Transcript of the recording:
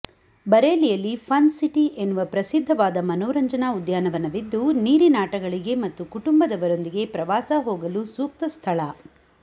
ಬರೇಲಿಯಲ್ಲಿ Fun City ಎನ್ನುವ ಪ್ರಸಿದ್ಧವಾದ ಮನೋರಂಜನಾ ಉದ್ಯಾನವನವಿದ್ದು ನೀರಿನಾಟಗಳಿಗೆ ಮತ್ತು ಕುಟುಂಬದವರೊಂದಿಗೆ ಪ್ರವಾಸ ಹೋಗಲು ಸೂಕ್ತ ಸ್ಥಳ